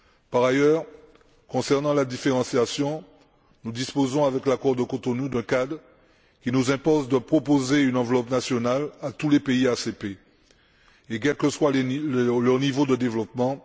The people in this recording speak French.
Par ailleurs, concernant la différenciation, nous disposons, avec l'accord de Cotonou, d'un cadre qui nous impose de proposer une enveloppe nationale à tous les pays ACP. Et quel que soit leur niveau de développement.